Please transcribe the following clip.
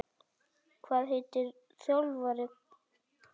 Hvað heitir þjálfari Hvatar?